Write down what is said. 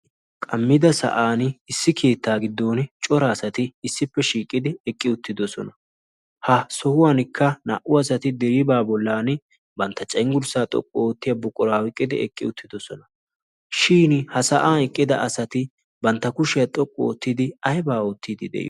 qammida sa'an issi kiittaa giddon cora asati issippe shiiqidi eqqi uttidosona. ha sohuwankka naa'u asati de'ibaa bollan bantta cenggurssaa xoqqu oottiya buquraawiqqidi eqqi uttidosona shin ha sa'aa eqqida asati bantta kushiyaa xoqqu oottidi aibaa oottidi?